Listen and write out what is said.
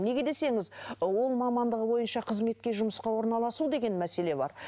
неге десеңіз і ол мамандығы бойынша қызметке жұмысқа орналасу деген мәселе бар